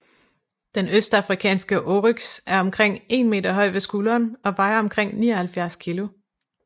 Den østafrikanske oryx er omkring 1 m høj ved skulderen og vejer omkring 79 kg